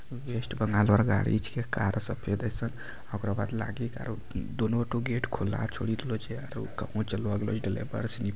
West Bengal और गाड़ी छींके कार सफेद एसन ओकरा बाद लागी कार दोनों ठो गेट खुला छोड़ी देलों छै आरो --